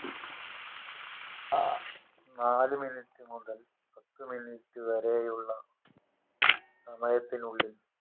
നാല് minute മുതൽ പത്ത് minute വരെയുള്ള സമയത്തിനുള്ളിൽ